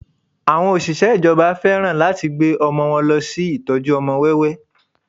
Àwọn Òṣìṣẹ́ ìjọba fẹ́ràn láti gbé ọmọ wọn lọ sí ìtọ́jú ọmọ wẹ́wẹ́